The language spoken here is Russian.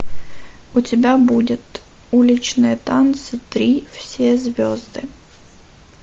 у тебя будет уличные танцы три все звезды